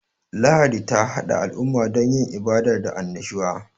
Lahadi ta hada al'umma don yin ibada da annashuwa.